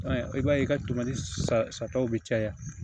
I b'a ye i ka tɛmɛ ni sataw be caya